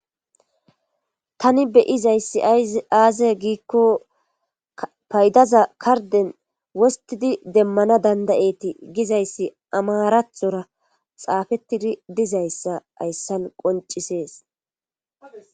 Tani be'izayssi aaze giikko paydaza karden wostidi demmana dandayeti gizayssi amarathora xaafettidi dizayssa ayssan qoncisees.